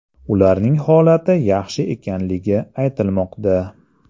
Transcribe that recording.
Ularning holati yaxshi ekanligi aytilmoqda.